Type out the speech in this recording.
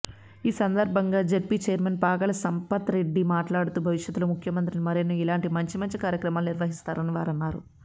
ఈసందర్భంగా జెడ్పీచైర్మన్ పాగాల సంపత్రెడ్డి మాట్లాడుతూ భవిష్యత్లో ముఖ్యమంత్రి మరెన్నో ఇలాంటి మంచి మంచి కార్యక్రమాలు నిర్వహిస్తారని వారన్నారు